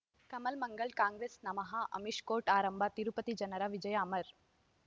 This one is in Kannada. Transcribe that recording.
ಕಮಲ್ ಮಂಗಳ್ ಕಾಂಗ್ರೆಸ್ ನಮಃ ಅಮಿಷ್ ಕೋರ್ಟ್ ಆರಂಭ ತಿರುಪತಿ ಜನರ ವಿಜಯ ಅಮರ್